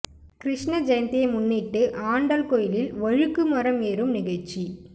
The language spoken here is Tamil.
கிருஷ்ண ஜெயந்தியை முன்னிட்டு ஆண்டாள் கோயிலில் வழுக்கு மரம் ஏறும் நிகழ்ச்சி